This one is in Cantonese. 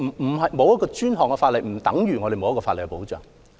但是，沒有專項法例並不等於沒有法律保障。